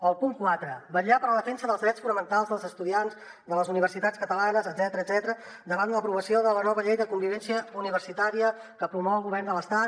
el punt quatre vetllar per la defensa dels drets fonamentals dels estudiants de les universitats catalanes etcètera davant l’aprovació de la nova llei de convivència universitària que promou el govern de l’estat